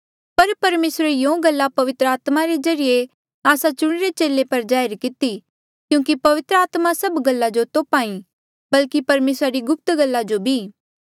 पर परमेसरे यूँ गल्ला पवित्र आत्मा रे ज्रीए आस्सा चुणिरे चेले पर जाहिर किती क्यूंकि पवित्र आत्मा सभ गल्ला जो तोप्हा ई बल्की परमेसरा री गुप्त गल्ला जो भी